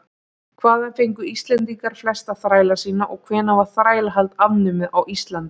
hvaðan fengu íslendingar flesta þræla sína og hvenær var þrælahald afnumið á íslandi